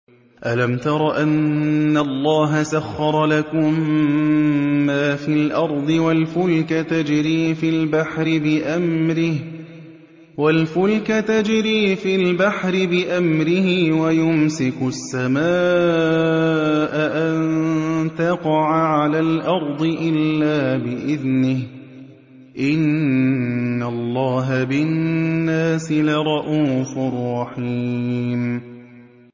أَلَمْ تَرَ أَنَّ اللَّهَ سَخَّرَ لَكُم مَّا فِي الْأَرْضِ وَالْفُلْكَ تَجْرِي فِي الْبَحْرِ بِأَمْرِهِ وَيُمْسِكُ السَّمَاءَ أَن تَقَعَ عَلَى الْأَرْضِ إِلَّا بِإِذْنِهِ ۗ إِنَّ اللَّهَ بِالنَّاسِ لَرَءُوفٌ رَّحِيمٌ